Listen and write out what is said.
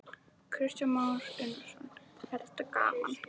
Kristján Már Unnarsson: Er þetta gaman?